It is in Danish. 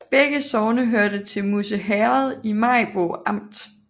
Begge sogne hørte til Musse Herred i Maribo Amt